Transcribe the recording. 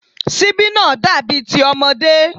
Síbí náà dàbí ti ọmọdé